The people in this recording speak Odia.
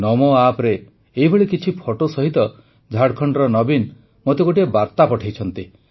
ନମୋ ଆପ୍ରେ ଏଭଳି କିଛି ଫଟୋ ସହିତ ଝାଡ଼ଖଣ୍ଡର ନବୀନ ମୋତେ ଗୋଟିଏ ବାର୍ତା ପଠେଇଛନ୍ତି